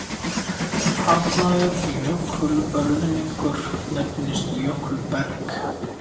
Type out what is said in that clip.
Harðnaður jökulruðningur nefnist jökulberg.